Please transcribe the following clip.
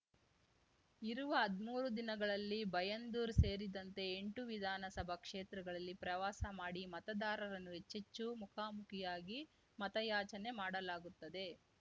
ಇರುವ ಹದ್ಮೂರು ದಿನಗಳಲ್ಲಿ ಬೈಂದೂರು ಸೇರಿದಂತೆ ಎಂಟು ವಿಧಾನಸಭಾ ಕ್ಷೇತ್ರಗಳಲ್ಲಿ ಪ್ರವಾಸ ಮಾಡಿ ಮತದಾರರನ್ನು ಹೆಚ್ಚೆಚ್ಚು ಮುಖಾಮುಖಿಯಾಗಿ ಮತಯಾಚನೆ ಮಾಡಲಾಗುತ್ತದೆ